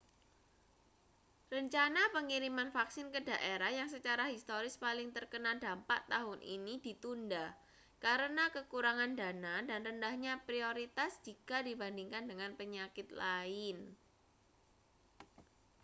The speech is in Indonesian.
rencana pengiriman vaksin ke daerah yang secara historis paling terkena dampak tahun ini ditunda karena kekurangan dana dan rendahnya prioritas jika dibandingkan dengan penyakit lain